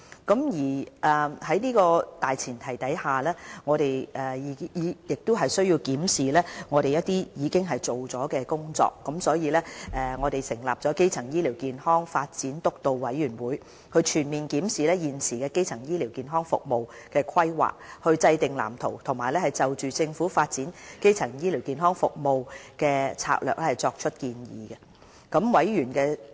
在這個大前提下，我們亦需要檢視一些我們已完成的工作，因此便成立了基層醫療健康發展督導委員會，全面檢視現時基層醫療服務的規劃，制訂藍圖，以及就政府發展基層醫療服務的策略作出建議。